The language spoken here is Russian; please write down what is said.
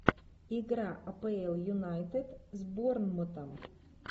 игра апл юнайтед с борнмутом